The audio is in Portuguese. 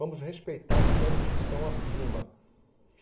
Vamos respeitar sempre os que estão acima.